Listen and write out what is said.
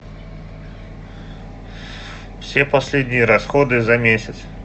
все последние расходы за месяц